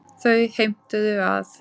Þau heimtuðu að